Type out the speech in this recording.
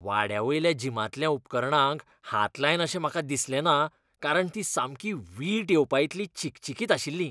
वाड्यावयल्या जिमांतल्या उपकरणांक हात लायन अशें म्हाका दिसलेंना कारण तीं सामकीं वीट येवपाइतलीं चिकचिकीत आशिल्लीं.